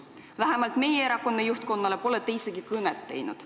Vähemalt meie erakonna juhtkonnale pole te isegi mitte helistanud.